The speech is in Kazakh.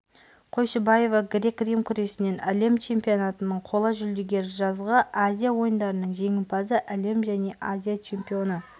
қойшыбаева грек-рим күресінен әлем чемпионатының қола жүлдегері жазғы азия ойындарының жеңімпазы әлем және азия чемпионы